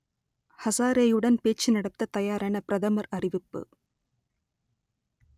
ஹசாரேயுடன் பேச்சு நடத்தத் தயாரென பிரதமர் அறிவிப்பு